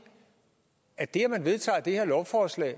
at det at man vedtager det her lovforslag